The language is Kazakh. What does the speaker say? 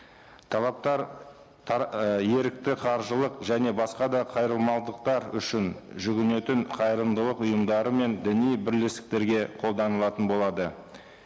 талаптар ы ерікті қаржылық және басқа да үшін жүгінетін қайырымдылық ұйымдары мен діни бірлестіктерге қолданылатын болады